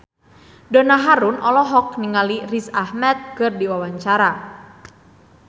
Donna Harun olohok ningali Riz Ahmed keur diwawancara